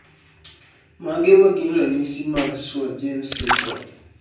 Mage magin ranyisi mag Swyer James syndrome?